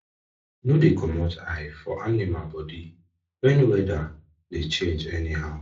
no dey comot eye for animal their body when weather dey change anyhow